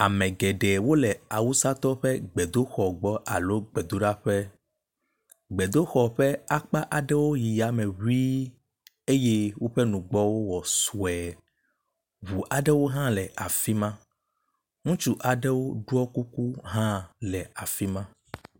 Ame geɖewo le awusatɔwo ƒe gbedoxɔ gbɔ alo gbedoɖaƒe. Gbedoxɔ ƒe akpa aɖewo yi yame ŋii eye woƒe nugbɔwo wɔ sue. Ŋu aɖewo hã le afi ma. Ŋutsu aɖewo ɖɔ kuku hã le afi ma.